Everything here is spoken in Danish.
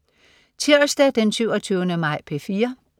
Tirsdag den 27. maj - P4: